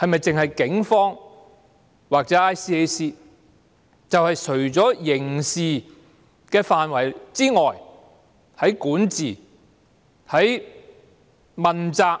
是否只有警方或 ICAC 可以這樣做，而除了刑事範圍外，在管治和問責方面，